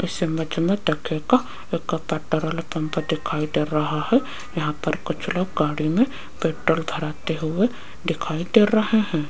इस इमेज में देखिएगा एक पेट्रोल पंप दिखाई दे रहा है यहां पर कुछ लोग गाड़ी में पेट्रोल भराते हुए दिखाई दे रहे हैं।